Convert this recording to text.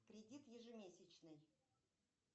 кредит ежемесячный